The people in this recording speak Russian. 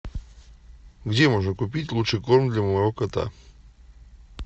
где можно купить лучший корм для моего кота